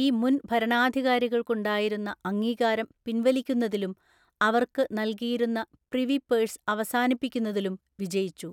ഈ മുൻ ഭരണാധികാരികൾക്കുണ്ടായിരുന്ന അംഗീകാരം പിന്‍വലിക്കുന്നതിലും അവർക്ക് നൽകിയിരുന്ന പ്രിവിപേഴ്സ് അവസാനിപ്പിക്കുന്നതിലും വിജയിച്ചു.